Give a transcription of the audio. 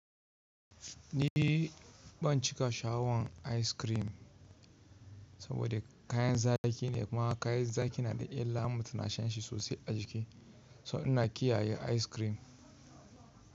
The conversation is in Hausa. Ni ban cika shaawan ice cream saboda kayan zaki ne, kuma kayan zaki na da illa mutum na shan shi sosai a jiki. So ina kiyaye ice cream.